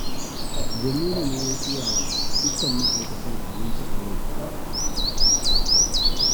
Jamilu ne ya saya wa dukkan ma'aikatan abinci a yau